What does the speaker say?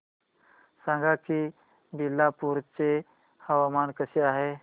सांगा की बिलासपुर चे हवामान कसे आहे